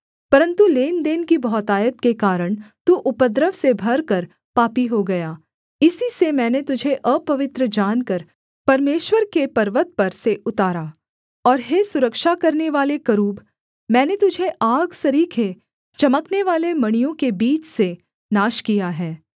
परन्तु लेनदेन की बहुतायत के कारण तू उपद्रव से भरकर पापी हो गया इसी से मैंने तुझे अपवित्र जानकर परमेश्वर के पर्वत पर से उतारा और हे सुरक्षा करनेवाले करूब मैंने तुझे आग सरीखे चमकनेवाले मणियों के बीच से नाश किया है